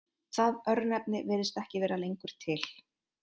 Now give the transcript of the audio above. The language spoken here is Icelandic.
Það örnefni virðist ekki vera lengur til.